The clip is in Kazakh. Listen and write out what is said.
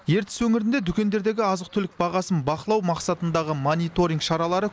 ертіс өңірінде дүкендердегі азық түлік бағасын бақылау мақсатындағы мониторинг шаралары